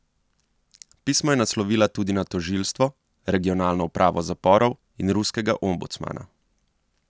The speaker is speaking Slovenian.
Pismo je naslovila tudi na tožilstvo, regionalno upravo zaporov in ruskega ombudsmana.